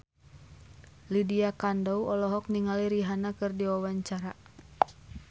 Lydia Kandou olohok ningali Rihanna keur diwawancara